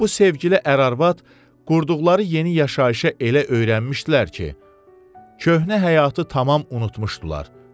Bu sevgili ər-arvad qurduqları yeni yaşayışa elə öyrəşmişdilər ki, köhnə həyatı tamam unutmuşdular.